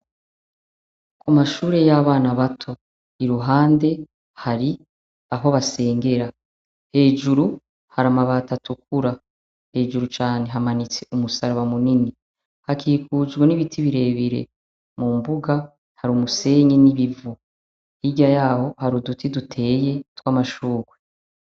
Amashure y'abana bato, i ruhande hari aho basengera, hejuru hari amabati atukura, hejuru cane hamanitse umusaraba munini, hakikujwe n'ibiti birebire mu mbuga, hari umusenyi n'ibivu, hirya yaho hari uduti duteye tw'amashurwe.